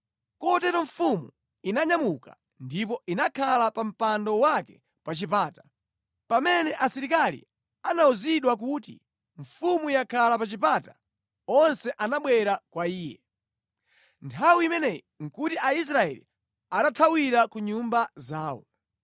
Kotero mfumu inanyamuka ndipo inakhala pa mpando wake pa chipata. Pamene asilikali anawuzidwa kuti, “Mfumu yakhala pa chipata,” onse anabwera kwa iye. Davide Abwerera ku Yerusalemu Nthawi imeneyi nʼkuti Aisraeli atathawira ku nyumba zawo.